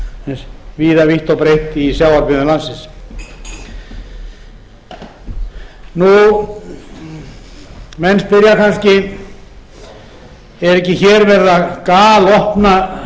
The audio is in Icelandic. víða vítt og breitt í sjávarbyggðum landsins menn spyrja kannski er ekki verið að galopna slíka sóknaraukningu að